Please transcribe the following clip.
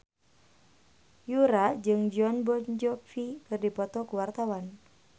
Yura jeung Jon Bon Jovi keur dipoto ku wartawan